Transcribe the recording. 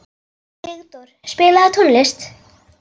Sigdór, spilaðu tónlist.